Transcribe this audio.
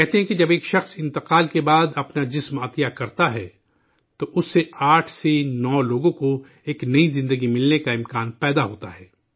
کہتے ہیں، جب ایک آدمی موت کے بعد اپنا جسم عطیہ کرتا ہے، تو اس سے 8 سے 9 لوگوں کو ایک نئی زندگی ملنے کی امید بنتی ہے